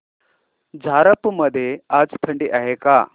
झारप मध्ये आज थंडी आहे का